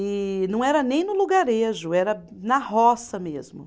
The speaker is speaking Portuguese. E não era nem no lugarejo, era na roça mesmo.